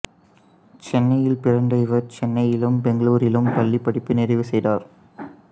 சென்னையில் பிறந்த இவர் சென்னையிலும் பெங்களூரிலும் பள்ளிப் படிப்பை நிறைவு செய்தார்